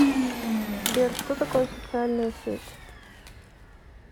сбер что такое социальная сеть